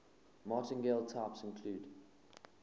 martingale types include